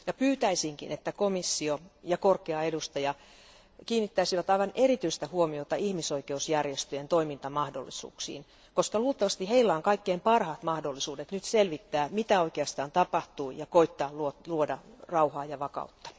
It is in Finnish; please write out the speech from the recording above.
Pyytäisinkin, että komissio ja korkea edustaja kiinnittäisivät aivan erityistä huomiota ihmisoikeusjärjestöjen toimintamahdollisuuksiin, koska luultavasti niillä on kaikkein parhaat mahdollisuudet nyt selvittää, mitä oikeastaan tapahtuu ja koettaa luoda rauhaa ja vakautta.